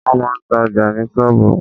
Wọ́n máa ń ta ọjà ní sọ́ọ̀bù.